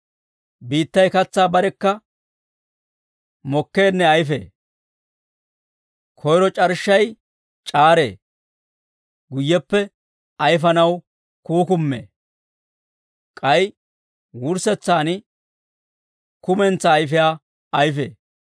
Biittay katsaa barekka mokkeenne ayfee; koyro c'arshshay c'aaree; guyyeppe ayfanaw kuukumee; k'ay wurssetsaan kumentsaa ayfiyaa ayfee.